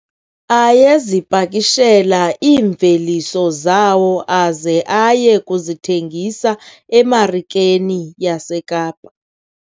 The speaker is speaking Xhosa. Ayezipakishela iimveliso zawo aze aye kuzithengisa emarikeni yaseKapa.